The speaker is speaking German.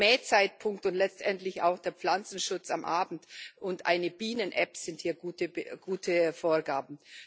Der Mähzeitpunkt und letztendlich auch der Pflanzenschutz am Abend und eine Bienen App sind hier gute Vorgaben.